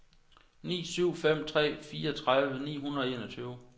ni syv fem tre fireogtredive ni hundrede og enogtyve